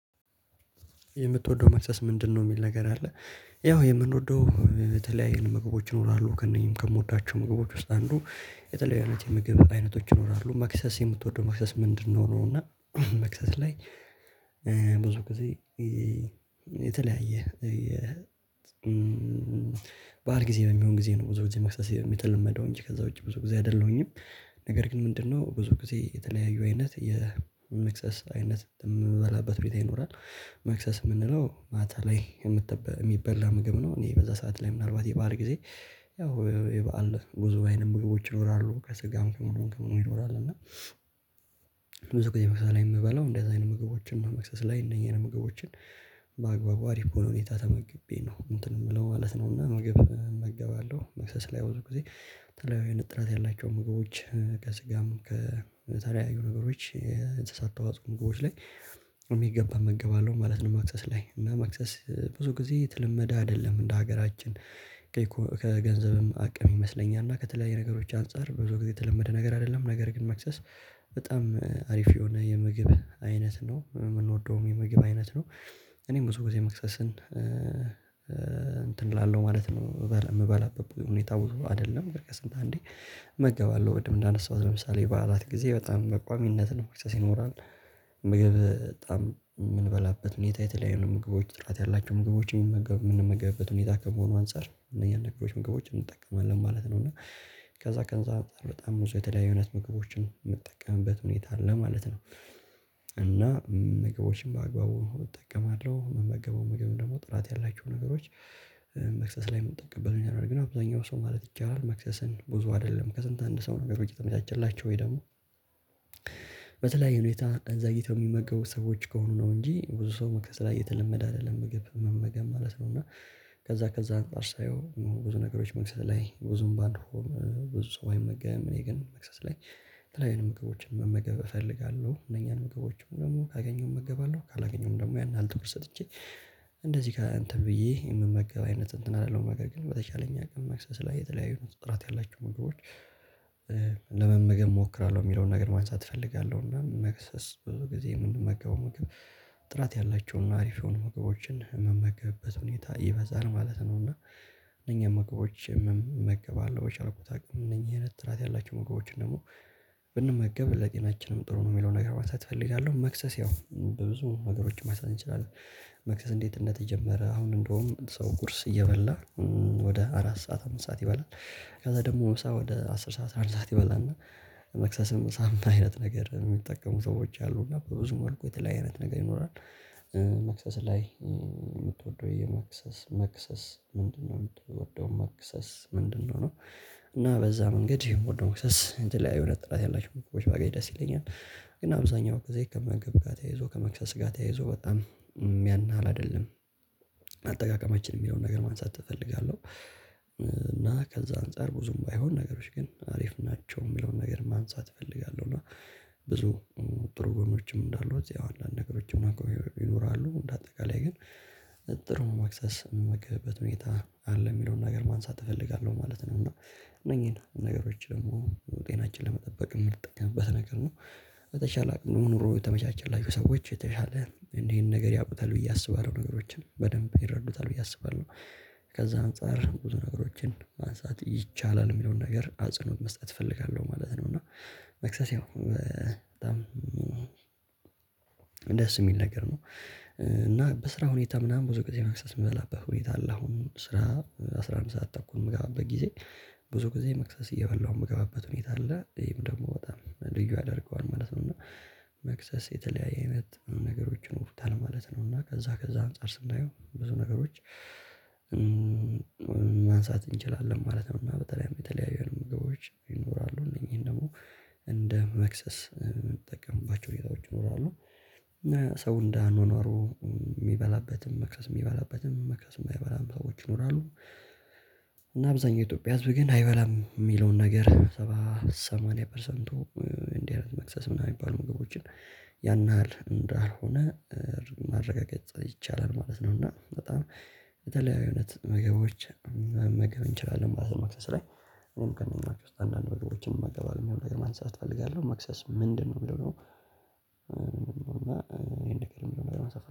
የምትወደው መክሰስ ምንድነው? የሚል ነገር አለ ያው የምንወደው የተለያየ ምግቦች ይኖራሉ ከእነኚህም ከምወዳቸው ምግቦች ውስጥ አንዱ የተለያየ የምግብ አይነቶች ይኖራሉ መክሰስ የምትወደው መክሰስ ምንድነው ነው? እና መክሰስ ላይ ብዙ ጊዜ የተለያየ በዓል ጊዜ ነው የሚሆን ጊዜ ነው ብዙ ጊዜ መክሰስ የተለመደው እንጂ ከዛ ውጪ ብዙ ጊዜ አይደለሁኝም። ነገር ግን ምንድነው ብዙ ጊዜ የተለያዩ አይነት የመክሰስ አይነት የምበላበት ቤት ይኖራል። መክሰስ የምንለው ማታ ላይ የሚበላ ምግብ ነው። እኔ በዛ ሰዓት ላይ ምናልባት የበአል ጊዜ ያው የበአል ብዙ አይነት ምግቦች ይኖራሉ ከስጋም ከምኑም ከምኑም ይኖራል። እና ብዙ ጊዜ መክሰስ ላይ የምበላው እንደዚህ አይነት ምግቦችን ነው መክሰስ ላይ እነኚህን ምግቦችን በአግባቡ አሪፍ በሆነ ሁኔታ ተመግቤ ነው። እንትን የምለው ማለት ነው እና ምግብ እመገባለሁ መክሰስ ላይ ብዙ ጊዜ የተለያዩ አይነት ጥራት ያላቸው ምግቦች ከስጋም ከተለያዩ ነገሮች ከሰጠውት ምግቦች ላይ የሚገባ እመገባለሁ ማለት ነው። መክሰስ ላይ እና መክሰስ ብዙ ጊዜ የተለመደ አይደለም እንደ ሀገራችን ከገንዘብም አቅም ይመስለኛል እና ከተለያየ ነገሮች አንፃር ብዙ ጊዜ የተለመደ ነገር አይደለም። ነገር ግን መክሰስ በጣም አሪፍ የሆነ የምግብ አይነት ነው የምንወደውም የምግብ አይነት ነው። እኔም ብዙ ጊዜ መክሰስን እንትን እላለሁ ማለት ነው የምበላበት ሁኔታ ብዙ አይደለም ከስንት አንዴ እመገባለሁ ቅድም እንዳነሳሁት ለምሳሌ በዓላት ጊዜ በጣም በቋሚነት ነው መክሰስ ይኖራል። ምግብ በጣም የምንበላበት ሁኔታ የተለያዩ ምግቦች ጥራት ያላቸው ምግቦች የምንመገብበት ሁኔታ ከመሆኑ አንፃር እነኛን ነገሮች ምግቦችን እንጠቀማለን ማለት ነው። እና ከዛ ከዛ አንፃር በጣም ብዙ የተለያዩ አይነት ምግቦችን የምጠቀምበት ሁኔታ አለ ማለት ነው። እና ምግቦችን በአግባቡ እጠቀማለሁ ምመገበውም ምግብ ደግሞ ጥራት ያላቸው ነገሮች መክሰስ ላይ ምጠቀምበት ሁኔታ ነው። ያለው ግን አብዛኛው ሰው ማለት ይቻላል መክሰስን ብዙ አይደለም ከስንት አንድ ሰው ነው ነገሮች የተመቻቸላቸው ወይ ደግሞ በተለያየ ሁኔታ እንደዚ አይነት የሚመገቡ ሰዎች ከሆኑ ነው እንጂ ብዙ ሰው መክሰስ ላይ የተለመደ አይደለም። ምግብ መመገብ ማለት ነው እና ከዛ ከዛ አንፃር ሳየው ብዙ ነገሮች መክሰስ ላይ ብዙም ባይሆን ብዙ ሰው አይመገም እኔ ግን መክሰስ ላይ የተለያዩ አይነት ምግቦችን መመገብ እፈልጋለሁ። እነኛን ምግቦችን ደግሞ ካገኘውም እገባለሁ ካላገኘውም ደግሞ ያን ያህል ትኩረት ሰጥቼ እንደዚህ እንትን ብዬ የምመገብ አይነት እንትን አይደለሁም ነገር ግን በተቻለኝ አቅም መክሰስ ላይ የተለያዩ ጥራት ያላቸው ምግቦች ለመመገብ እሞክራለሁ። የሚለውን ነገር ማንሳት እፈልጋለሁ እና መክሰስ ብዙ ጊዜ ምንመገበው ምግብ ጥራት ያላቸውን አሪፍ የሆኑ ምግቦችን የምመገብበት ሁኔታ ይበዛል ማለት ነው። እና እነኛን ምግቦች መገባለሁ በቻልኩት እነኚህን አይነት ጥራት ያላቸው ምግቦችን ደግሞ ብንመገብ ለጤናችንም ጥሩ ነው የሚለውን ነገር ማንሳት እፈልጋለሁ መክሰስ ያው በብዙ ነገሮች ማንሳት እንችላለን። መክሰስ እንዴት እንደተጀመረ አሁን እንደውም ሰው ቁርስ እየበላ ወደ አራት ሰዓት አምስት ሰዓት ይበላል። ከዛ ደግሞ ምሳ ወደ አስር ሰዓት አስራ አንድ ሰዓት ይበላና መክሰስም ምሳም አይነት ነገር የሚጠቀሙ ሰዎች አሉ እና በብዙ መልኩ የተለያየ አይነት ነገር ይኖራል። መክሰስ ላይ የምትወደው የመክሰስ መክሰስ ምንድነው የምትወደው መክሰስ ምንድነው? ነው እና በዛ መንገድ የምወደው መክሰስ እንትን ላይ የሆነ ጥራት ያላቸው ምግቦች ባገኝ ደስ ይለኛል። ግን አብዛኛው ግዜ ከምግብ ጋር ተያይዞ ከመክሰስ ጋር ተያይዞ በጣም ያን ያህል አይደለም አጠቃቀማችን የሚለውን ነገር ማንሳት እፈልጋለሁ። እና ከዛ አንፃር ብዙም ባይሆን ነገሮች ግን አሪፍ ናቸው የሚለውን ነገር ማንሳት እፈልጋለሁ እና ብዙ ጥሩ ጎኖችም እንዳሉ አንዳንድ ነገሮችም ማቀው ይኖራሉ እንደ አጠቃላይ ግን ጥሩ መክሰስ ምመገብበት ሁኔታ አለ የሚለውን ነገር ማንሳት እፈልጋለሁ ማለት ነው። እና እነኚህን ነገሮች ደግሞ ጤናችንን ለመጠበቅ የምንጠቀምበት ነገር ነው በተቻለ አቅም ኑሮ የተመቻቸላቸው ሰዎች የተሻለ እንዲህ አይነት ነገር ያውቁታል ብዬ አስባለሁ ነገሮችን በደንብ ይረዱታል ብዬ አስባለሁ። ከዛ አንፃር ብዙ ነገሮችን ማንሳት ይቻላል የሚለውን ነገር አጽንኦት መስጠት እፈልጋለሁ ማለት ነው። እና መክሰስ ያው በጣም ደስ የሚል ነገር ነው። እና በስራ ሁኔታ ምናምን ብዙ ጊዜ መክሰስ የምበላበት ሁኔታ አለ አሁን ስራ አስራ አንድ ሰዓት ተኩል በምገባበት ጊዜ ብዙ ጊዜ መክሰስ እየበላሁ የምገባበት ሁኔታ አለ ይሄም ደግሞ በጣም ልዩ ያደርገዋል ማለት ነው። እና መክሰስ የተለያየ አይነት ነገሮች ይኖሩታል ማለት ነው። እና ከዛ ከዛ አንፃር ስናየው ብዙ ነገሮች ማንሳት እንችላለን ማለት ነው። እና በጣም የተለያዩ አይነት ምግቦች ይኖራሉ። እነኚህን ደግሞ እንደ መክሰስ የምንጠቀምባቸው ሁኔታዎች ይኖራሉ። ሰው እንደ አኗኗሩ የሚበላበትም መክሰስ የሚበላበትም መክሰስ የማይበላም ሰዎች ይኖራሉ። እና አብዛኛው የኢትዮጵያ ህዝብ ግን አይበላም የሚለውን ነገር ሰባ ሰማንያ ፐርሰንቱ እንዲህ አይነት መክሰስ ምናምን የሚባሉ ምግቦችን ያን ያህል እንደሆነ ማረጋገጥ ይቻላል ማለት ነው። እና በጣም የተለያዩ አይነት ምግቦች መመገብ እንችላለን ማለት ነው። መክሰስ ላይ እኔም ከእነኛዎች ውስጥ አንዳንድ ምግቦችን እመገባለው የሚለውን ነገር ማንሳት እፈልጋለሁ መክሰስ ምንድነው? የሚለው ደግሞ እና ይሄን ነገር ደሞ ማንሳት